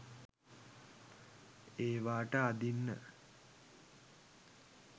ඒවාට අඳින්න